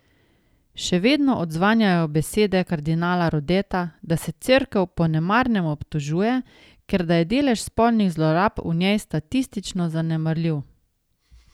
Še vedno odzvanjajo besede kardinala Rodeta, da se Cerkev po nemarnem obtožuje, ker da je delež spolnih zlorab v njej statistično zanemarljiv.